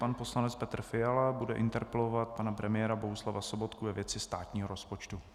Pan poslanec Petr Fiala bude interpelovat pana premiéra Bohuslava Sobotku ve věci státního rozpočtu.